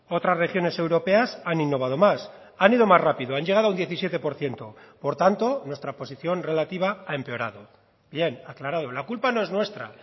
otras regiones europeas han innovado más han ido más rápido han llegado a un diecisiete por ciento por tanto nuestra posición relativa ha empeorado bien aclarado la culpa no es nuestra